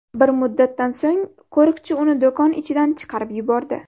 Bir muddatdan so‘ng qo‘riqchi uni do‘kon ichidan chiqarib yubordi.